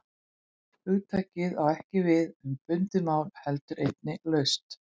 Hugtakið á ekki bara við um bundið mál heldur einnig laust.